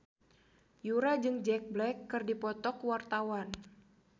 Yura jeung Jack Black keur dipoto ku wartawan